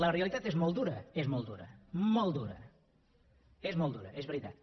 la realitat és molt dura és molt dura molt dura és molt dura és veritat